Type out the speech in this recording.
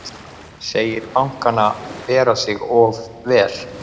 Segir bankana bera sig of vel